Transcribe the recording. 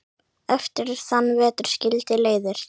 Eftir þann vetur skildi leiðir.